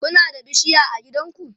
Kuna da bishiya a gidanku?